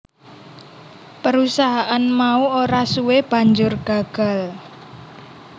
Perusahaan mau ora suwe banjur gagal